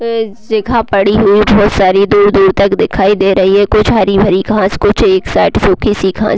अ जगह पड़ी हुई बहुत सारी दूर-दूर तक दिखाई दे रही है कुछ हरी-भरी घास कुछ एक साइड सूखी सी घास--